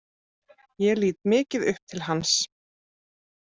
Ég lít mikið upp til hans.